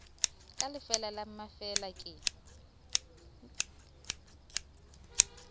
ka lefeela la mafeela ke